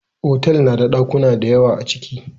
Otal nada ɗakuna dayawa aciki